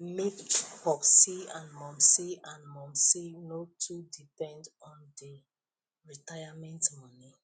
make popsi and momsi and momsi nor too depend on the retirement money